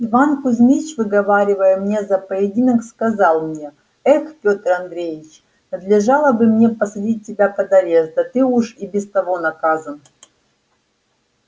иван кузмич выговаривая мне за поединок сказал мне эх петр андреич надлежало бы мне посадить тебя под арест да ты уж и без того наказан